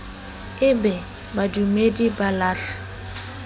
e be badumedi ba lahle